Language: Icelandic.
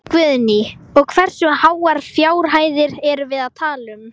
Guðný: Og hversu háar fjárhæðir erum við að tala um?